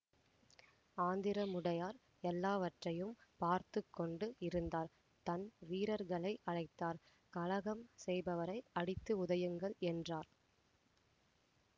ஆந்திரமுடையார் எல்லாவற்றையும் பார்த்து கொண்டு இருந்தார் தன் வீரர்களை அழைத்தார் கலகம் செய்பவரை அடித்து உதையுங்கள் என்றார்